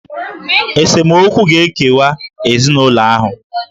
Esemokwu ga-ekewa ezinụlọ ahụ.